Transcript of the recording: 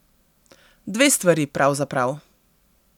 Dve stvari, pravzaprav.